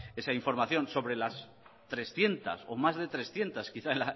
esa información sobre las trescientos o más de trescientos quizá